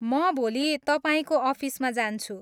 म भोलि तपाईँको अफिसमा जान्छु।